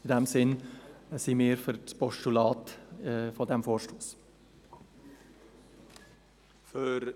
In diesem Sinne stimmen wir diesem Vorstoss als Postulat zu.